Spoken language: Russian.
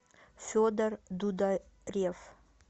федор дударев